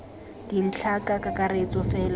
dintlhana ka kakaretso fela e